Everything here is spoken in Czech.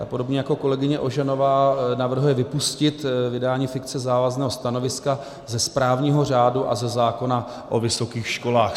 Ta podobně jako kolegyně Ožanová navrhuje vypustit vydání fikce závazného stanoviska ze správního řádu a ze zákona o vysokých školách.